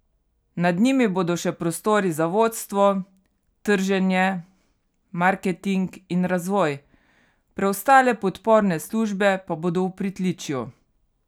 Nad njimi bodo še prostori za vodstvo, trženje, marketing in razvoj, preostale podporne službe pa bodo v pritličju.